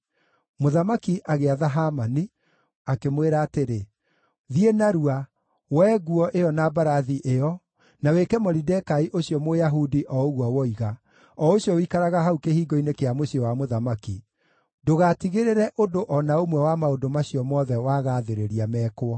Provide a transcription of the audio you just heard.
Mũthamaki agĩatha Hamani, akĩmwĩra atĩrĩ, “Thiĩ narua, woe nguo ĩyo na mbarathi ĩyo, na wĩke Moridekai ũcio Mũyahudi o ũguo woiga, o ũcio ũikaraga hau kĩhingo-inĩ kĩa mũciĩ wa mũthamaki. Ndũgatigĩrĩre ũndũ o na ũmwe wa maũndũ macio mothe wagaathĩrĩria mekwo.”